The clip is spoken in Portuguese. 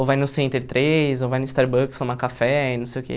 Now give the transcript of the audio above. Ou vai no Center três, ou vai no Starbucks tomar café, não sei o quê.